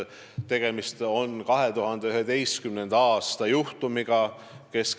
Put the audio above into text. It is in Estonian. Tegemist on 2011. aasta juhtumiga.